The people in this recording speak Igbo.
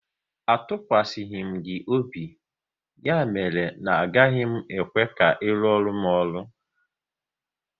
A tụkwasịghi m gị obi, ya mere na agaghị m ekwe ka ị ruoru m ọrụ!